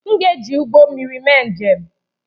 M ga-eji ụgbọ mmiri mee njem